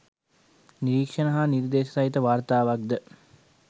නිරීක්‍ෂණ හා නිර්දේශ සහිත වාර්තාවක්‌ ද